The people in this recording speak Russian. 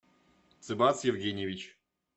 цибас евгеньевич